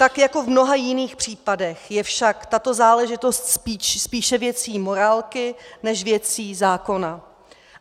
Tak jako v mnoha jiných případech je však tato záležitost spíše věcí morálky než věcí zákona.